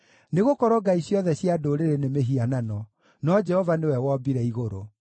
Nĩgũkorwo ngai ciothe cia ndũrĩrĩ nĩ mĩhianano, no Jehova nĩwe wombire igũrũ.